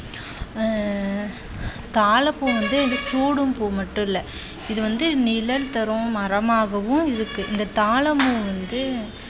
ஆஹ் தாழம் பூ வந்து சூடும் பூ மட்டுமல்ல இது வந்து நிழல் தரும் மரமாகவும் இருக்கு. இந்த தாழம் பூ வந்து